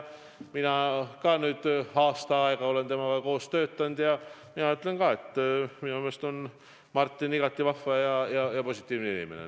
Ma olen nüüd aasta aega temaga koos töötanud ja mina ütlen ka, et minu meelest on Martin igati vahva ja positiivne inimene.